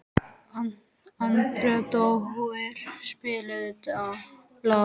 Arndór, spilaðu lag.